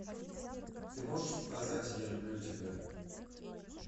ты можешь показать я люблю тебя